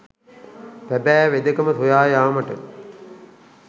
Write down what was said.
සැබෑ වෙදකම සොයා යාමට